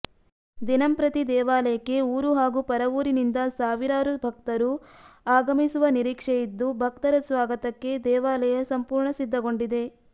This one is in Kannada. ದಿನಂಪ್ರತಿ ದೇವಾಲಯಕ್ಕೆ ಊರು ಹಾಗೂ ಪರವೂರಿನಿಂದ ಸಾವಿರಾರು ಭಕ್ತರು ಆಗಮಿಸುವ ನಿರೀಕ್ಷೆಯಿದ್ದು ಭಕ್ತರ ಸ್ವಾಗತಕ್ಕೆ ದೇವಾಲಯ ಸಂಪೂರ್ಣ ಸಿದ್ಧಗೊಂಡಿದೆ